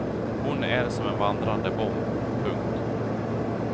Hon är som en vandrande bomb. punkt